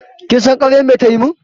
Kin san ƙaryan me ta yi min?